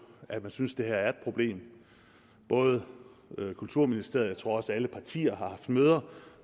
at de synes at det her er et problem både kulturministeriet og jeg tror også alle partier har haft møder